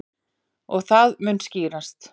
Og það mun skýrast.